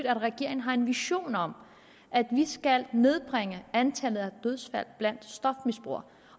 at regeringen har en vision om at vi skal nedbringe antallet af dødsfald blandt stofmisbrugere